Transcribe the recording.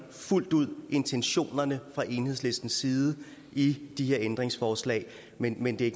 fuldt ud intentionerne fra enhedslistens side i de her ændringsforslag men men det er